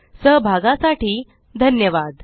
सहभागासाठी धन्यवाद